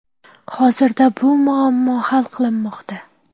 Hozirda bu muammo hal qilinmoqda.